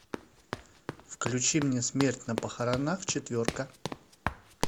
включи мне смерть на похоронах четверка